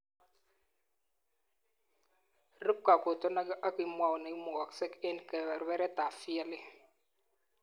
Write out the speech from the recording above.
Rup kakotonaik ak kimwou neimukasek eng kebebertaab VLE